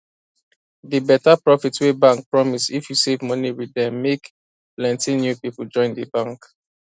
the better profit wey bank promise if you save money with dem make pls ty new people join the bank